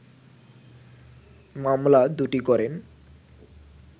মামলা দুটি করেন